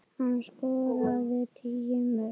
Hann skoraði tíu mörk.